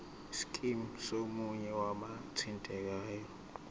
scheme somunye wabathintekayo